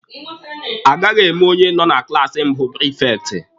A gaghị eme onye nọ na klaasi mbụ prifekti.